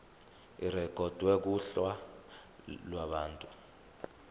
irekhodwe kuhla lwabantu